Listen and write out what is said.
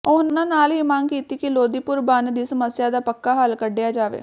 ਉਹਨਾਂ ਨਾਲ ਹੀ ਮੰਗ ਕੀਤੀ ਕਿ ਲੋਦੀਪੁਰ ਬੰਨ ਦੀ ਸਮੱਸਿਆ ਦਾ ਪੱਕਾ ਹੱਲ ਕੱਢਿਆ ਜਾਵੇ